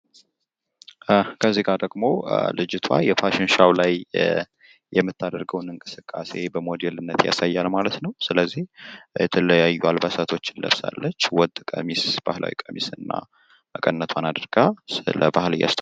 ክዚጋ ደሞ ልጅትዋ የፋሽን ሾው ላይ የምታደረውን እንቅስቃሴ በሞዴልነት ያሳያል ማለት ነው። ስለዚህ የተለያዩ አልባሳትን ለብሳለች ፤ ወጥ ባህላዊ ቀሚስ እና መቀነት አድርጋ ስለባህልዋ እያስተዋወቀጭ